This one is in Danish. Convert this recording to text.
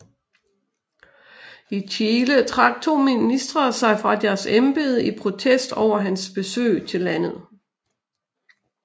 I Chile trak to ministre sig fra deres embede i protest over hans besøg til landet